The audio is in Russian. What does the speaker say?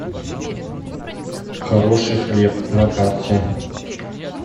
хороший хлеб на карте